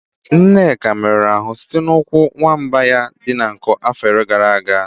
Nneka merụrụ ahụ site n'ụkwụ nwamba ya dị nkọ n'afọ gara aga.